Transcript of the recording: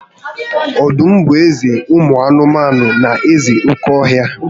Ọdụm bụ eze ụmụ anụmanụ na eze oke ọhịa